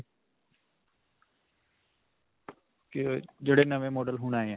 ਜਿਹੜੇ ਨਵੇਂ model ਹੁਣ ਆਏ ਹੈ.